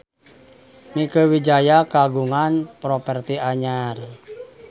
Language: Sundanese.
Mieke Wijaya kagungan properti anyar